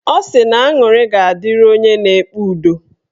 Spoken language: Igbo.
Ọ sị na aṅụrị ga-adịrị onye na-ekpe udo